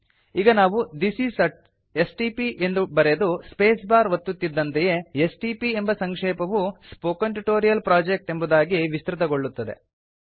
ಈಗ ನಾವು this is a STP ಎಂದು ಬರೆದು ಸ್ಪೇಸ್ ಬಾರ್ ಒತ್ತುತ್ತಿದ್ದಂತೆಯೇ ಎಸ್ಟಿಪಿ ಎಂಬ ಸಂಕ್ಷೇಪವು ಸ್ಪೋಕನ್ ಟ್ಯೂಟೋರಿಯಲ್ ಪ್ರೊಜೆಕ್ಟ್ ಎಂಬುದಾಗಿ ವಿಸ್ತೃತಗೊಳ್ಳುತ್ತದೆ